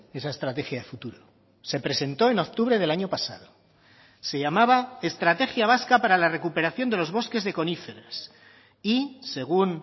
esa estrategia de futuro se presentó en octubre del año pasado se llamaba estrategia vasca para la recuperación de los bosques de coníferas y según